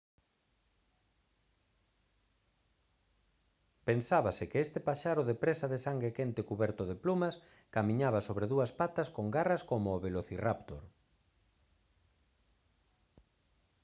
pensábase que este paxaro de presa de sangue quente cuberto de plumas camiñaba sobre dúas patas con garras como o velocirráptor